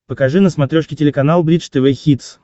покажи на смотрешке телеканал бридж тв хитс